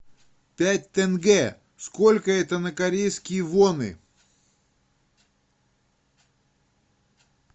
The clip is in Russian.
пять тенге сколько это на корейские воны